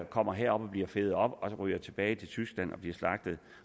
kommer herop og bliver fedet op og så ryger de tilbage til tyskland og bliver slagtet